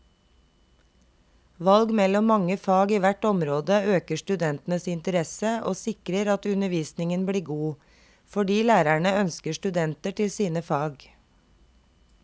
Valg mellom mange fag i hvert område øker studentenes interesse og sikrer at undervisningen blir god, fordi lærerne ønsker studenter til sine fag.